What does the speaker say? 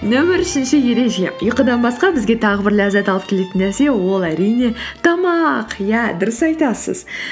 нөмір үшінші ереже ұйқыдан басқа бізге тағы бір ләззат алып келетін нәрсе ол әрине тамақ иә дұрыс айтасыз